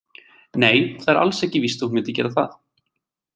Nei, það er alls ekki víst að hún myndi gera það.